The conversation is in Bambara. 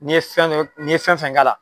N'i ye fɛn fɛn n'i ye fɛn fɛn k'a la.